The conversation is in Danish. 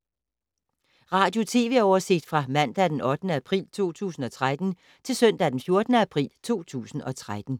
Radio/TV oversigt fra mandag d. 8. april 2013 til søndag d. 14. april 2013